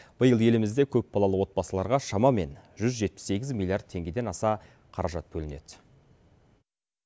биыл елімізде көпбалалы отбасыларға шамамен жүз жетпіс сегіз миллиард теңгеден аса қаражат бөлінеді